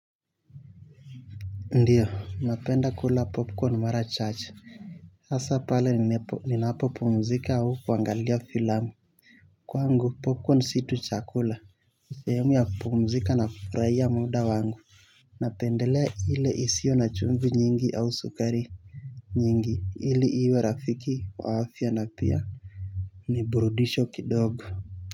Ndiyo napenda kula popcorn mara chache asa pale ninapopumzika au kuangalia filamu kwangu popcorn si tu chakula ni sihemu ya kupumzika na kufuraia muda wangu napendelea ile isio na chumvi nyingi au sukari nyingi ili iwe rafiki wa afya na pia niburudishwe kidogo.